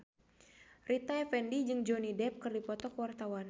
Rita Effendy jeung Johnny Depp keur dipoto ku wartawan